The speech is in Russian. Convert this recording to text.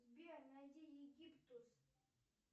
сбер найди египтус